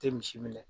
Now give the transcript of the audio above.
Tɛ misi minɛ